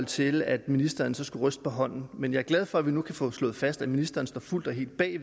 til at ministeren skulle ryste på hånden men jeg er glad for at vi nu kan få slået fast at ministeren står fuldt og helt bag